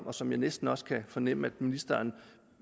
og som jeg næsten også kan fornemme ministeren